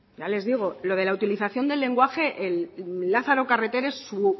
ya les digo lo de la utilización del lenguaje lázaro carreter es su